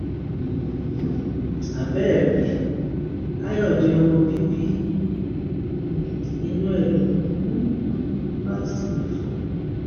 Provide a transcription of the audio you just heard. um àbẹẹ rí káyọdé ọmọ bíbí inú ẹ ló ń um bá sùn nifo